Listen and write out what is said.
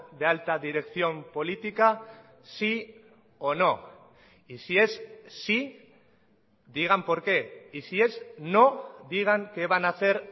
de alta dirección política sí o no y si es sí digan porque y si es no digan qué van a hacer